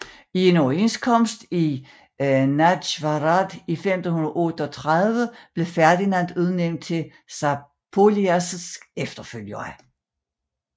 I en overenskomst i Nagyvarad i 1538 blev Ferdinand udnævnt til Zápolyas efterfølger